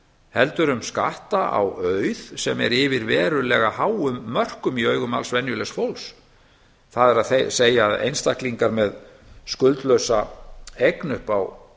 heldur um skatta á auð sem er yfir verulega háum mörkum í augum alls venjulegs fólks það er einstaklingar með skuldlausa eign upp á